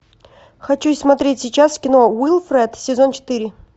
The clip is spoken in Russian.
хочу смотреть сейчас кино уилфред сезон четыре